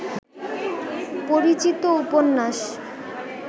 পরিচিত উপন্যাস